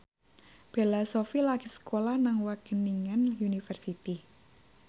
Bella Shofie lagi sekolah nang Wageningen University